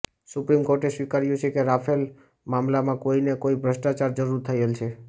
supreme કોર્ટે સ્વીકાર્યું છે કે રાફેલ મામલામાં કોઈ ને કોઇ ભ્રષ્ટાચાર જરૂર થયેલ છે